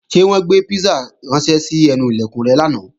Ṣé wọ́n gbé písà ránṣẹ́ sí ẹnu Ilẹ̀kùn rẹ lánàá?